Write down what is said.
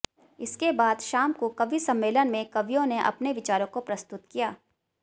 इसके बाद शाम को कवि सम्मेलन में कवियों ने अपने विचारों को प्रस्तुत किया